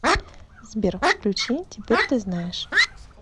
сбер включи теперь ты знаешь